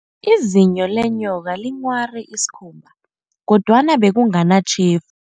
Izinyo lenyoka linghware isikhumba, kodwana bekunganatjhef